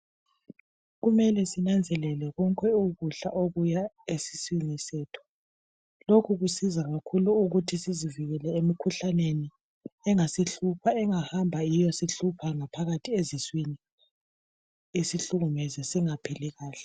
Kumele sinanzelele konke ukudla okuya esiswini sethu lokhu kusiza kakhulu ukuthi sizivikele emikhuhlaneni engasihlupha engahamba iyesihlupha ngaphakathi phakathi esiswini isenze singaphili kuhle